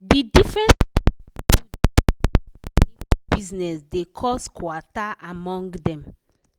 di different styles wey people dey take dey put money for bizness dey cos kwata among dem.